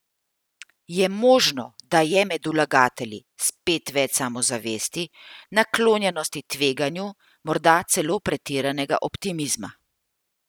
Je možno, da je med vlagatelji spet več samozavesti, naklonjenosti tveganju, morda celo pretiranega optimizma?